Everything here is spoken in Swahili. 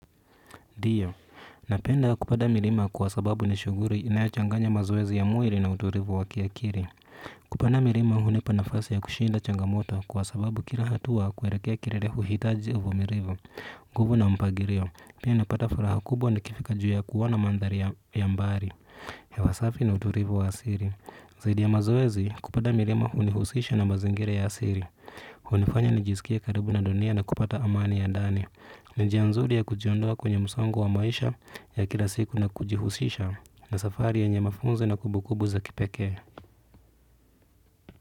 Ndio, napenda kupanda milima kwa sababu ni shughuli inayochanganya mazoezi ya mwili na utulivu wa kiakili. Kupanda milima hunipa nafasi ya kushinda changamoto kwa sababu kila hatua kuelekea kilele huhitaji uvumilivu. Nguvu na mpangilio, pia napata furaha kubwa nikifika juu ya kuona mandhari ya mbali hewa safi na utulivu wa asili. Zaidi ya mazoezi, kupanda milima hunihusisha na mazingira ya asili. Hunifanya nijisikie karibu na dunia na kupata amani ya ndani. Ni njia nzuri ya kujiondoa kwenye msongo wa maisha ya kila siku na kujihusisha na safari yenye mafunzo na kumbukumbu za kipekee.